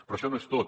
però això no és tot